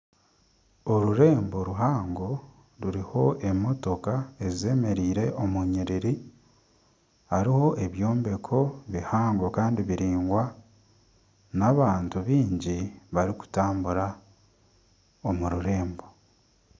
Orurembo ruhango ruriho emotooka zemereire omu nyiriri hariho ebyombeko bihango kandi biraingwa n'abantu baingi barikutambura omu rurembo.